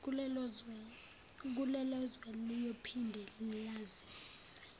kulelozwe liyophinde lazise